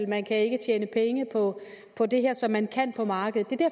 man kan ikke tjene penge på på det her som man kan på markedet